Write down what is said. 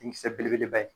Denkisɛ belebeleba ye